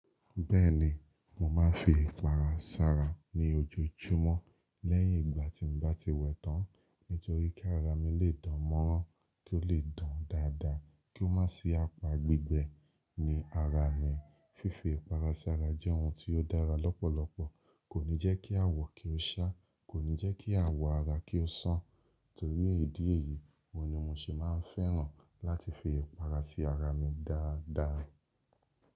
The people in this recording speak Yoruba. Bẹ́ẹ̀ni, mo máa ń fi ìpara sára ní ojoojúmọ́ lẹ́yìn ìgbà tí mo bá ti wẹ̀ tán. Nítorí kí ara mi lè dán mọ́rán, kí ó lè dán dáadáa, kí ó má sí apa gbígbẹ ni ara mi. Fífi ìpara sí ara jẹ́ ohun tí ó dára lọ́pọ̀lọpọ̀, kò ní jẹ́ kí àwọ̀ kí ó ṣá, kò ní jẹ́ kí àwọ̀ ara kí ó ṣán, torí èyí dì èyí, mo ni mo ṣe máa ń fẹ́ràn láti fi ìpara sí ara mi dáadáa.